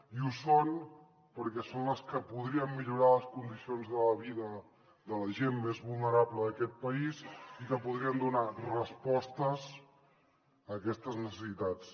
i ho són perquè són les que podrien millorar les condicions de vida de la gent més vulnerable d’aquest país i que podrien donar respostes a aquestes necessitats